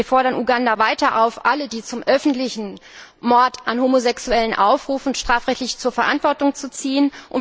Wir fordern Uganda weiter auf, alle, die zum öffentlichen Mord an Homosexuellen aufrufen, strafrechtlich zur Verantwortung zu ziehen.